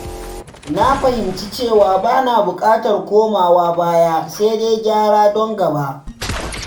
Na fahimci cewa ba na bukatar komawa baya, sai dai gyara don gaba.